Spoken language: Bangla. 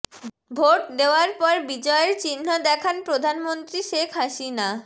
ভোট দেয়ার পর বিজয়ের চিহ্ন দেখান প্রধানমন্ত্রী শেখ হাসিনা